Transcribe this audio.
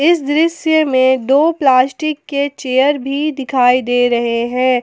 इस दृश्य में दो प्लास्टिक के चेयर भी दिखाई रहे हैं।